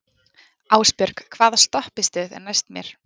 Ásbjörg, hvaða stoppistöð er næst mér?